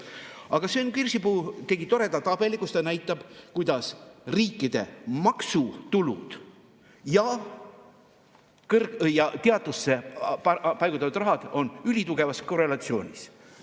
Aga Sven Kirsipuu tegi toreda tabeli, kus ta näitab, kuidas riikide maksutulud ja teadusesse paigutatud rahad on ülitugevas korrelatsioonis.